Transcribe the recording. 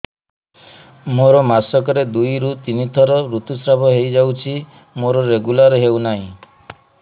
ମୋର ମାସ କ ରେ ଦୁଇ ରୁ ତିନି ଥର ଋତୁଶ୍ରାବ ହେଇଯାଉଛି ମୋର ରେଗୁଲାର ହେଉନାହିଁ